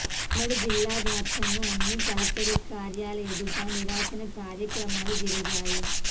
ఉమ్మడి జిల్లావ్యాప్తంగా అన్ని కలెక్టరేట్ కార్యాలయల ఎదుట నిరసన కార్యక్రమాలు జరిగాయి